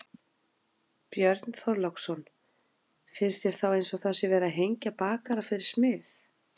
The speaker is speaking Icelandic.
Björn Þorláksson: Finnst þér þá eins og það sé verið að hengja bakara fyrir smið?